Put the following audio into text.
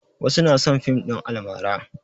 Wasu na son fim ɗin almara.